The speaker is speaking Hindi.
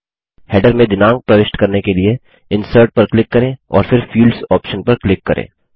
हैडर में दिनाँक प्रविष्ट करने के लिए इंसर्ट पर क्लिक करें और फिर फील्ड्स ऑप्शन पर क्लिक करें